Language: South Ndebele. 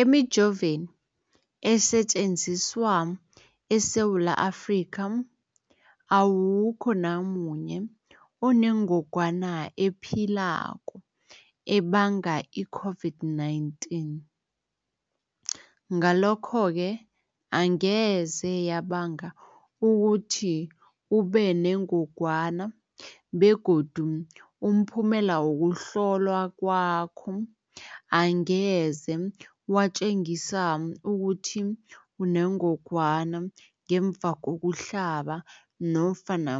Emijoveni esetjenziswa eSewula Afrika, awukho namunye onengog wana ephilako ebanga i-COVID-19. Ngalokho-ke angeze yabanga ukuthi ubenengogwana begodu umphumela wokuhlolwan kwakho angeze watjengisa ukuthi unengogwana ngemva kokuhlaba nofana